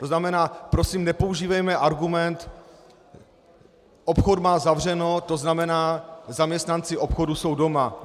To znamená, prosím, nepoužívejme argument "obchod má zavřeno, to znamená, zaměstnanci obchodu jsou doma".